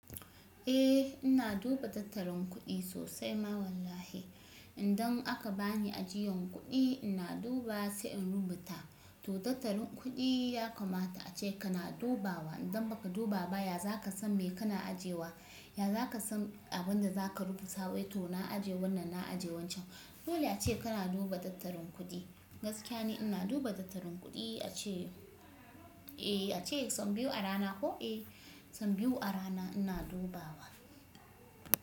Eh ina duba tattalin kuɗi sosai ma wallahi. Idan aka bani ajiyan kuɗi ina duba sai in rubuta. To tattalin kuɗi ya kamata ace kana dubawa. Idan baka duba ba ya za ka san me kana ajiyewa, ya za ka san abin da za ka rubuta. Wai to na aje wannan, na aje wancan. Dole ace kana duba tattalin kuɗi. Gaskiya ne ina duba tattalin kuɗi ace. Eh ace sau biyu a rana ko? Eh sau biyu a rana ina dubawa.